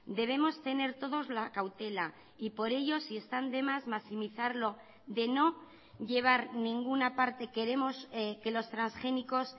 debemos tener todos la cautela y por ello si están de más maximizarlo de no llevar ninguna parte queremos que los transgénicos